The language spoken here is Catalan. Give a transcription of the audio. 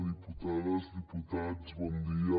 diputades diputats bon dia